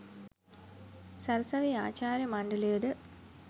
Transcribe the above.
සරසවි ආචාර්ය මණ්ඩලයද